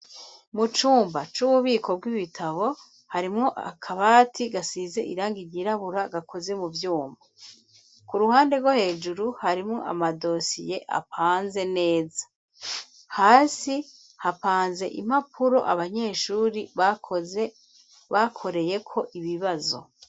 Mu cumba c'ububiko bw'ibitabo harimwo akabati gasize irangi ryirabura gakoze mu vyuma. Ku ruhande rwo hejuru harimwo amadosiye apanze neza. Hasi hapanze impapuro abanyeshuri bakoreyeko ibibazo.